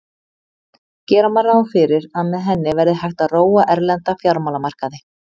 Gera má ráð fyrir að með henni verði hægt að róa erlenda fjármálamarkaði.